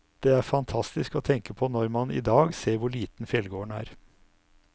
Det er fantastisk å tenke på når man i dag ser hvor liten fjellgården er.